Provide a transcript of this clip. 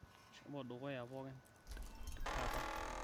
shomo dukuya pookin kata